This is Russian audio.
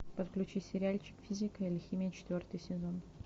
подключи сериальчик физика или химия четвертый сезон